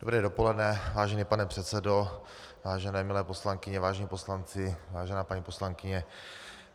Dobré dopoledne, vážený pane předsedo, vážené milé poslankyně, vážení poslanci, vážená paní poslankyně.